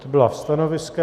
To byla stanoviska.